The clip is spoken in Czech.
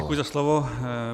Děkuji za slovo.